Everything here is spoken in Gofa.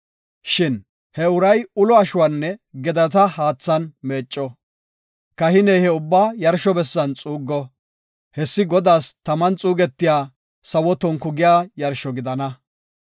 Shin he uray ulo ashuwanne gedata haathan meecco. Kahiney he ubbaa yarsho bessan xuuggo; hessi Godaas taman xuugetiya sawo tonku giya yarsho gidana.